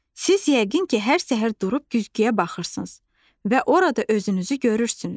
Siz yəqin ki, hər səhər durub güzgüyə baxırsınız və orada özünüzü görürsünüz.